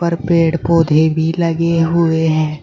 पर पेड़ पौधे भी लगे हुए हैं।